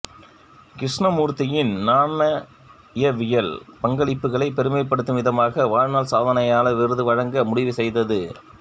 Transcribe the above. கிருஷ்ணமூர்த்தியின் நாணயவியல் பங்களிப்புகளைப் பெருமைப்படுத்தும் விதமாக வாழ்நாள் சாதனையாளர் விருது வழங்க முடிவு செய்தது